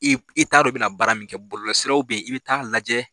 I b, i t'a dɔn i bɛ na baara min kɛ, bɔlɔlɔ siraw bɛ yen i bɛ taa lajɛ.